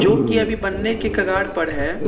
जो कि अभी बनने की कगार पर है।